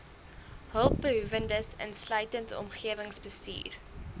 hulpbehoewendes insluitend omgewingsbestuur